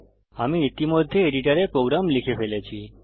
আমি ইতিমধ্যে এডিটরে প্রোগ্রাম লিখে ফেলেছি